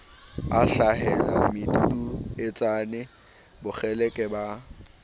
a hlahela meduduetsane bokgeleke ba